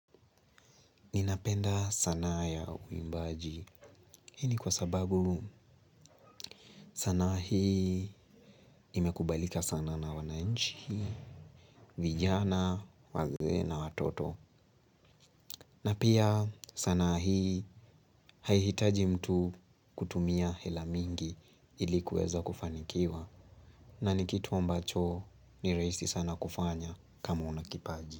Ninapenda sanaa ya uimbaji. Hii ni kwa sababu sanaa hii imekubalika sana na wananchi, vijana, wazee na, watoto. Na pia sanaa hii haihitaji mtu kutumia hela mingi ili kuweza kufanikiwa. Na nikitu ambacho ni rahisi sana kufanya kama unakipaji.